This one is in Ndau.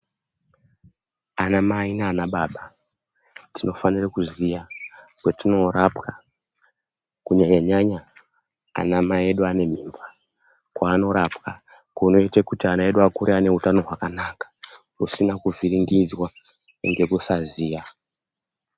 Ana mai nana baba tinofanire kuziya kwatinorapwa kunyanya nyanya anamai edu ane mimba .Kwaanorapwa kunoite kuti ana edu akure aneutano hwakanaka .Usina kuvhiringidzwa ngekusaziya.